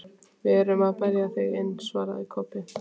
Við erum að bera þig inn, svaraði Kobbi.